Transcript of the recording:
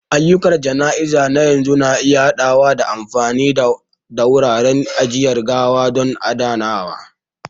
Ayyukan jana'iza na yanzu na iya haɗawa da amfani da wuraren ajiyar gawa don adanawa.